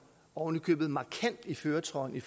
oven i købet markant i førertrøjen i